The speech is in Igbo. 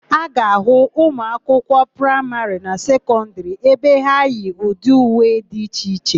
A ga-ahụ ụmụakwụkwọ praịmarị na sekọndịrị ebe ha yi ụdị uwe dị iche iche.